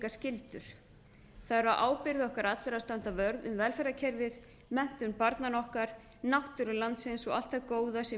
er á ábyrgð okkar allra að standa varð um velferðarkerfið menntun barnanna okkar náttúru landsins og allt það góða sem